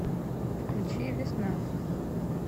включи весна